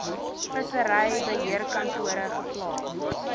vissery beheerkantore geplaas